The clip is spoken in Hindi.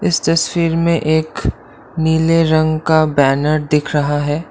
इस तस्वीर में एक नीले रंग का बैनर दिख रहा है।